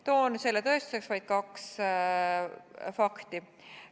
Toon selle tõestuseks vaid kaks fakti.